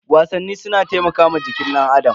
Wasanni suna taimakawa jikin danAdam.